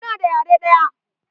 Muna da yare ɗaya.